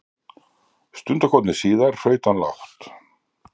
Stundarkorni síðar hraut hann lágt.